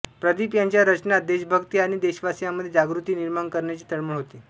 प्रदीप याच्या रचनांत देशभक्ती आणि देशवासीयांमधे जागृती निर्माण करण्याची तळमळ होती